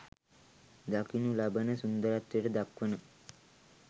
දකිනු ලබන සුන්දරත්වයට දක්වන